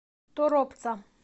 торопца